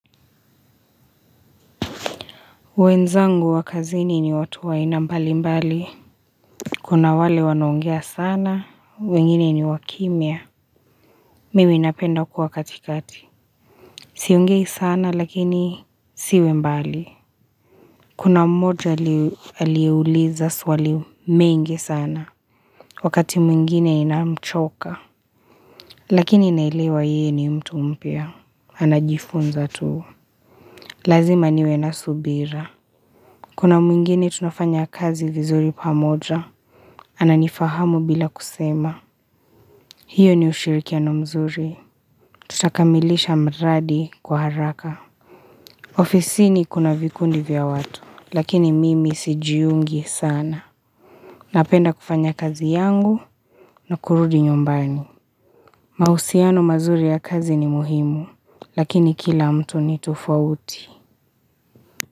Wenzangu wa kazini ni watu wa aina mbali mbali. Kuna wale wanaongea sana, wengine ni wa kimya. Mimi napenda kuwa katikati. Siongei sana lakini siwe mbali. Kuna mmoja aliuliza swali mengi sana. Wakati mwingine inamchoka. Lakini naelewa yeye ni mtu mpya. Anajifunza tu. Lazima niwe na subira. Kuna mwingine tunafanya kazi vizuri pamoja. Ananifahamu bila kusema hiyo ni ushirikiano mzuri Tutakamilisha mradi kwa haraka ofisini kuna vikundi vya watu Lakini mimi sijiungi sana Napenda kufanya kazi yangu na kurudi nyumbani mahusiano mazuri ya kazi ni muhimu Lakini kila mtu ni tofauti.